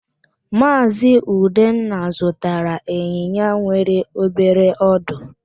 Maazị Udenna zụtara ịnyịnya nwere obere ọdụ.